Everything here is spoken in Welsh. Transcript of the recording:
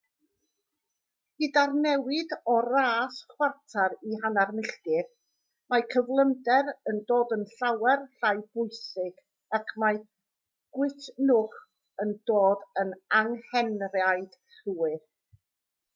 gyda'r newid o'r ras chwarter i hanner milltir mae cyflymder yn dod yn llawer llai pwysig ac mae gwytnwch yn dod yn anghenraid llwyr